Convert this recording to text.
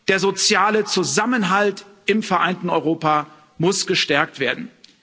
Der soziale Zusammenhalt im vereinten Europa muss gestärkt werden.